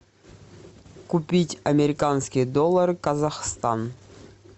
купить американские доллары казахстан